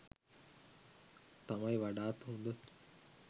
තමයි වඩාත් හොඳ.